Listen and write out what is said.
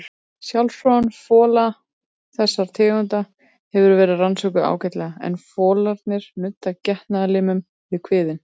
Sjálfsfróun fola þessara tegunda hefur verið rannsökuð ágætlega en folarnir nudda getnaðarlimnum við kviðinn.